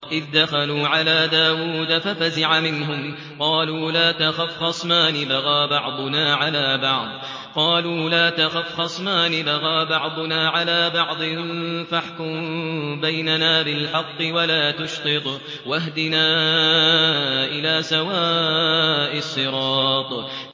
إِذْ دَخَلُوا عَلَىٰ دَاوُودَ فَفَزِعَ مِنْهُمْ ۖ قَالُوا لَا تَخَفْ ۖ خَصْمَانِ بَغَىٰ بَعْضُنَا عَلَىٰ بَعْضٍ فَاحْكُم بَيْنَنَا بِالْحَقِّ وَلَا تُشْطِطْ وَاهْدِنَا إِلَىٰ سَوَاءِ الصِّرَاطِ